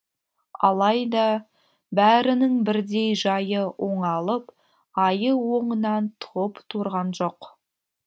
алайда бәрінің бірдей жайы оңалып айы оңынан туып тұрған жоқ